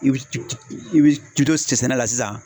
I b'i to sɛnɛ la sisan